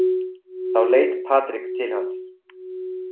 Þá leit Patrik til hans.